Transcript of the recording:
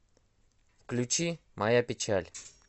включи моя печаль